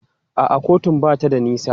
A'a kotun ba ta da nisa.